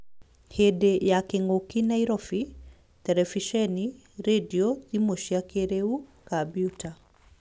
Hĩndĩ ya kĩng'ũki [ Nairobi ] Terebiceni, rendio, thimũ cia kĩrĩu, kambiuta